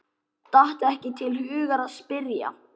Datt ekki til hugar að spyrja.